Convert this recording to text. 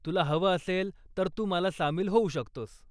तुला हवं असेल तर तू मला सामील होऊ शकतोस.